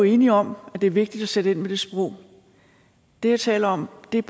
enige om at det er vigtigt at sætte ind med det sprog det jeg taler om er